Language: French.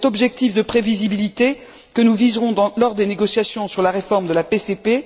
C'est cet objectif de prévisibilité que nous viserons lors des négociations sur la réforme de la PCP.